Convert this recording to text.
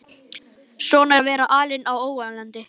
Svona er að vera alinn á ólandi.